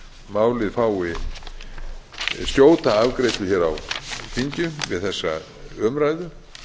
málið fái skjóta afgreiðslu hér á þingi við þessa umræðu